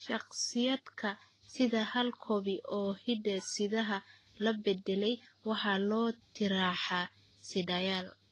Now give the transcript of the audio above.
Shakhsiyaadka sita hal koobi oo hidde-sidaha la beddelay waxa loo tixraacaa sidayaal.